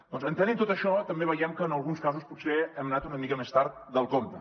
doncs entenent tot això també veiem que en alguns casos potser hem anat una mica més tard del compte